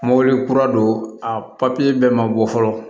Mobili kura don a papiye bɛɛ ma bɔ fɔlɔ